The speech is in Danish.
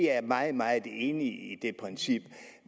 er meget meget enig i det princip